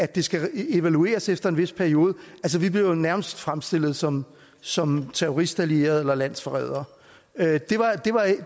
det skal evalueres efter en vis periode og vi blev jo nærmest fremstillet som som terroristallierede eller landsforrædere